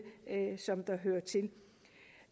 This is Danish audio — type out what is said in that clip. som hører til